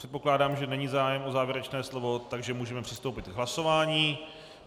Předpokládám, že není zájem o závěrečné slovo, takže můžeme přistoupit k hlasování.